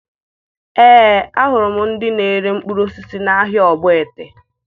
Ee, ahụrụ m ndị na-ere mkpụrụ osisi n'ahịa Ogbete